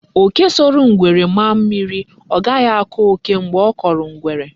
Oke soro ngwere maa mmiri, o ghahi ako oke mgbe o koro ngwere.